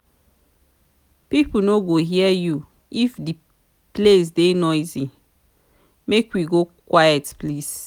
pipo no go hear you if di place dey noisy make we go quiet place.